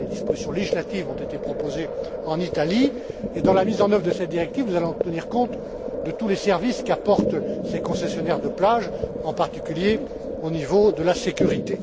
Des dispositions législatives ont d'ailleurs été proposées en Italie et, dans la mise en œuvre de cette directive, nous allons tenir compte de tous les services qu'apportent ces concessionnaires de plage, en particulier au niveau de la sécurité.